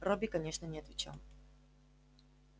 робби конечно не отвечал